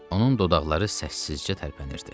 Onun dodaqları səssizcə tərpənirdi.